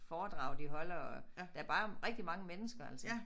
Foredrag de holder og der bare rigtig mange mennesker altså